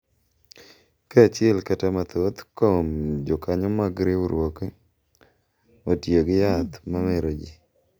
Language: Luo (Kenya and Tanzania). Ka achiel kata mathoth kuom jokanyo mag riwruokno otiyo gi yath ma mero ji,